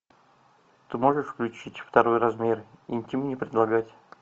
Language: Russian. ты можешь включить второй размер интим не предлагать